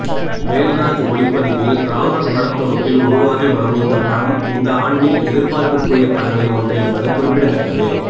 வேல்ராஜ் ஒளிப்பதிவில் ராமர் படத்தொகுப்பில் உருவாகி வரும் இந்த படம் இந்த ஆண்டின் எதிர்பார்ப்பிற்குரிய படங்களில் ஒன்று என்பது குறிப்பிடத்தக்கது